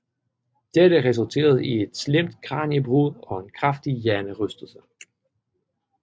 Dette resulterede i et slemt kraniebrud og en kraftig hjernerystelse